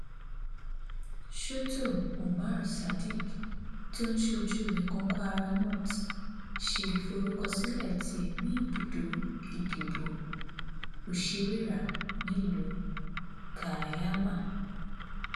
sọtò umar sadiq tó ń ṣojú ẹkùn kwara north ṣe ìforúkọsílẹ tiẹ ní ibùdó ìdìbò òṣìwéra nílùú kaiama